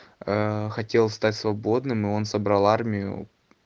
ээ хотел стать свободным и он собрал армию